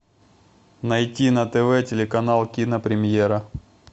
найти на тв телеканал кинопремьера